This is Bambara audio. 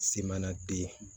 Se mana den